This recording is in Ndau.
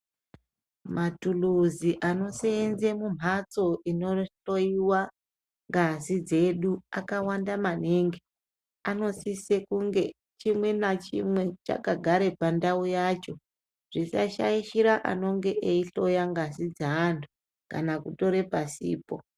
Matuluzi anosenze mumhatso inohloiwa ngazi dzedu akawanda maningi. Anosise kunge chimwe nachimwe chakagare pandau yacho. Zvisashaichira anonge eihloya ngazi dzeantu kana kutore pasipo.